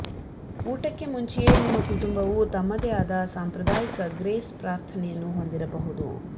ಊಟಕ್ಕೆ ಮುಂಚೆಯೇ ನಿಮ್ಮ ಕುಟುಂಬವು ತಮ್ಮದೇ ಆದ ಸಾಂಪ್ರದಾಯಿಕ ಗ್ರೇಸ್ ಪ್ರಾರ್ಥನೆಯನ್ನು ಹೊಂದಿರಬಹುದು